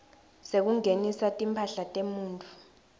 sekungenisa timphahla temuntfu